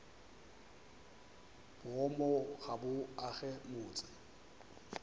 boomo ga bo age motse